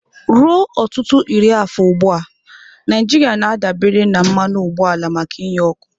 Ruo ọtụtụ iri afọ ugbu a, Naijiria na-adabere na mmanụ ụgbọala maka inye ọkụ.